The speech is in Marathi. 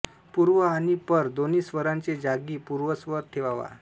पूर्व आणि पर दोन्ही स्वराचे जागी पूर्वस्वर ठेवावा